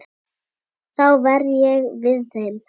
Þá verð ég við þeim.